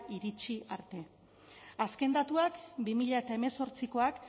iritsi arte azken datuak bi mila hemezortziak